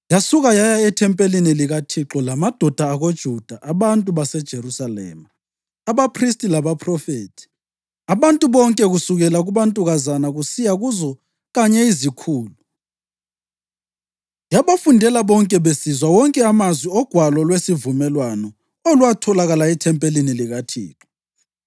Yasuka yaya ethempelini likaThixo lamadoda akoJuda, abantu baseJerusalema, abaphristi labaphrofethi, abantu bonke kusukela kubantukazana kusiya kuzo kanye izikhulu. Yabafundela bonke besizwa wonke amazwi oGwalo lweSivumelwano, olwatholakala ethempelini likaThixo.